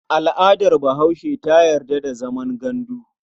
Al'adar Bahaushe ta yarda da zaman gandu.